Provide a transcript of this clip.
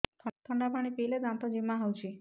ଥଣ୍ଡା ପାଣି ପିଇଲେ ଦାନ୍ତ ଜିମା ହଉଚି